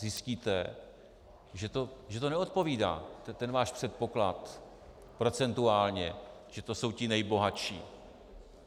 Zjistíte, že to neodpovídá, ten váš předpoklad, procentuálně, že to jsou ti nejbohatší.